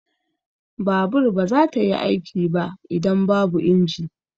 Babur ba za ta yi aiki ba idan babu inji.